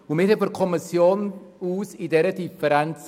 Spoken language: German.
Seitens der Kommission haben wir in dieser Frage keine Differenz.